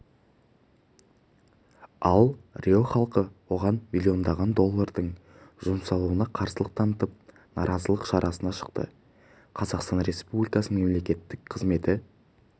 ал рио халқы оған миллиондаған доллардың жұмсалуына қарсылық танытып наразылық шарасына шықты қазақстан республикасының мемлекеттік қызметі